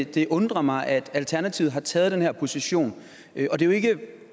at det undrer mig at alternativet har taget den her position det er jo ikke